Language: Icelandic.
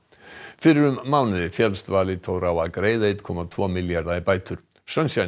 fyrir um mánuði féllst Valitor á að greiða einn komma tvo milljarða í bætur